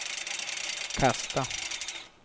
kasta